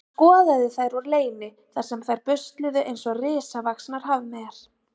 Hann skoðaði þær úr leyni þar sem þær busluðu eins og risavaxnar hafmeyjar.